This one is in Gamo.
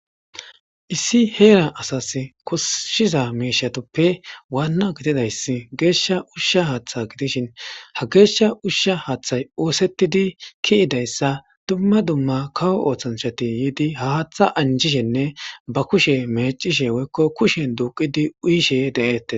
issi heera asas kosshiza miishatoppe waanna gididayssi geeshsha ushsha haaththa gidishin ha geeshsha ushsha haaththay oosettidi kiyidayssa dumma dumma kawo ooththancshati yiidi haaththa anjishenne ba kushe mecishe woykko kushen duuqidi uyishe de7eette